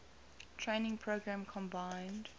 training program combined